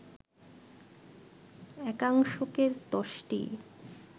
একাংশকে দশটি